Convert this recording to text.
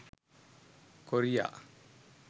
korea